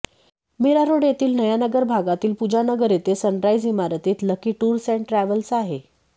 मीरारोड येथील नया नगर भागातील पुजा नगर येथे सनराईज इमारतीत लकी टुर्स एण्ड ट्रॅव्हल्स आहे